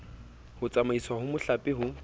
ho tsamaiswa ha mehlape ho